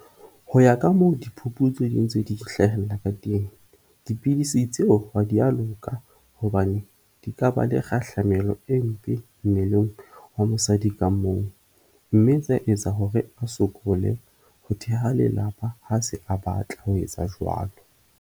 Ho ya ka moo diphuputso di ntse di hlahella ka teng, dipidisi tseo ha di a loka hobane di ka ba le kgahlamelo e mpe mmeleng wa mosadi ka mong mme tsa etsa hore a sokole ho theha lelapa ha se a batla ho etsa jwalo.